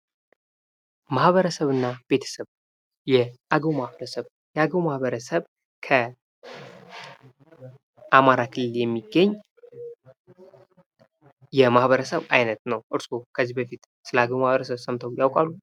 ማህበረሰብ እና ቤተሰብ ፦ የአገው ማህበረሰብ ፦ የአገው ማህበረሰብ ከአማራ ክልል የሚገኝ የማህበረሰብ አይነት ነው ። እርስዎ ከዚህ በፊት ስለአገው ማህበረሰብ ሰምተው ያውቃሉ ?